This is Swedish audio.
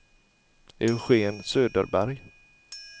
Eugen Söderberg